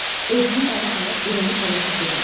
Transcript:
Özünü ələ alıb irəli hərəkət elədi.